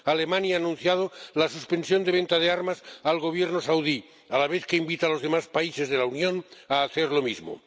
Alemania ha anunciado la suspensión de venta de armas al Gobierno saudí, a la vez que invita a los demás países de la Unión a hacer lo mismo.